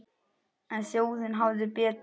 En þjóðin hafði betur.